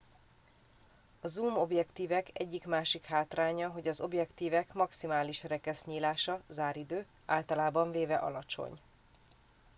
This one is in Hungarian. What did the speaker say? a zoom objektívek egyik másik hátránya hogy az objektívek maximális rekesznyílása záridő általában véve alacsony